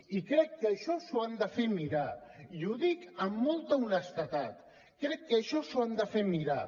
i crec que això s’ho han de fer mirar i ho dic amb molta honestedat crec que això s’ho han de fer mirar